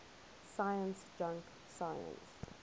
science junk science